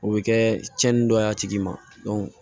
O bɛ kɛ cɛnin dɔ y'a tigi ma